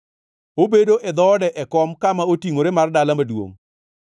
Obedo e dhoode, e kom kama otingʼore mar dala maduongʼ,